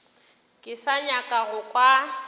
ke sa nyaka go kwa